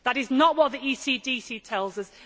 that is not what the ECDC tells us